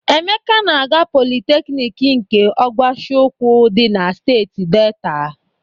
Emeka na-aga Politeknik nke Ọgwashiukwu dị na steeti Deeta.